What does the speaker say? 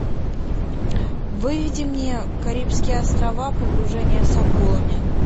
выведи мне карибские острова погружение с акулами